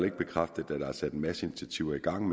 ikke bekræftet at der er sat en masse initiativer i gang